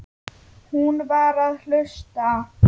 Hún var að hlusta.